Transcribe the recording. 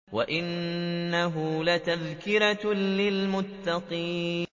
وَإِنَّهُ لَتَذْكِرَةٌ لِّلْمُتَّقِينَ